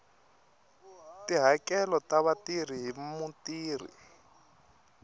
tihakelo ta vatirhi hi mutirhi